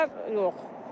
Xərclər yox.